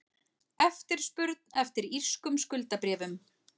Eftirspurn eftir írskum skuldabréfum